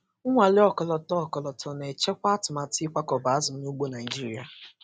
Nnwale ọkọlọtọ ọkọlọtọ na-echekwa atụmatụ ịkwakọba azụ n’ugbo Naịjirịa.